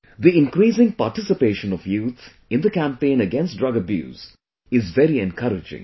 The increasing participation of youth in the campaign against drug abuse is very encouraging